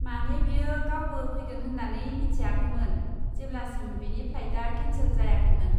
माने, बियो गावबो फैगोन होन्नानै मिथियाखैमोन जेब्लासिम बिनि फ्लाइटआ केनसेल जायाखैमोन।